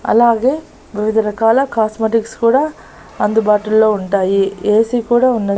అలాగే వివిధ రకాల కాస్మెటిక్స్ కూడా అందుబాటు లో ఉంటాయి ఏ_సీ కూడా ఉన్నాయి.